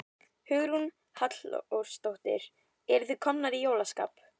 Hugrún Halldórsdóttir: En eruð þið komnar í jólaskap?